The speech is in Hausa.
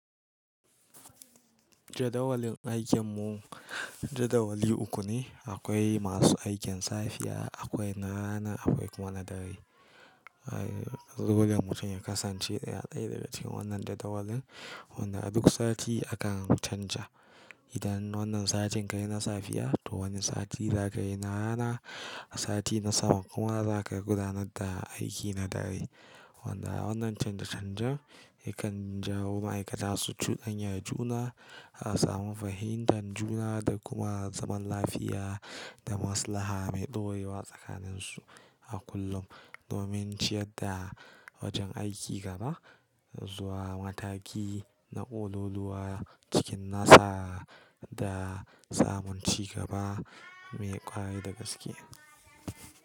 Jadawalin aikin mu jadawali uku ne. Akwai masu aikin safiya, akwai na rana, akwai kuma na dare. Eh, dole mutum ya kasance ya daina daga cikin wannan jadawalin wanda a duk sati akan canja. Idan wannan satin ka yi na safiya to wani sati za ka yi na rana, sati na sama kuma za ka gudanar da aiki na dare. Wanda wannan canje-canjen yakan jawo ma'aikata su cudanya juna, a samu fahimtar juna da kuma zaman lafiya da maslaha mai ɗorewa tsakanin su a kullum. Domin ciyar da wajen aiki gaba zuwa mataki na ƙololuwa cikin nasa da samun ci gaba mai ƙware da gaske.